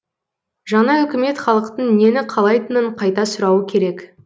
жаңа үкімет халықтың нені қалайтынын қайта сұрауы керек